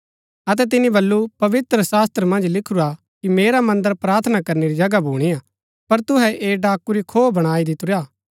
अतै तिनी बल्लू पवित्रशास्त्र मन्ज लिखुरा कि मेरा मन्दर प्रार्थना करनै री जगह भुणीआ पर तुहै ऐह डाकू रा खोह बणाई दितुरा